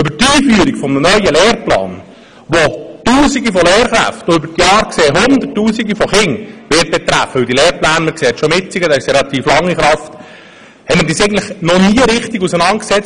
Mit der Einführung eines neuen Lehrplans, der Tausende von Lehrkräften und über die Jahre gesehen – denn wie man am bestehenden Lehrplan sieht, bleiben diese relativ lange in Kraft – Hunderttrausende von Kindern betreffen wird, haben wir uns eigentlich noch nie richtig auseinandergesetzt.